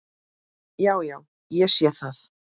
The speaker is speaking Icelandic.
Já, já. ég sé það.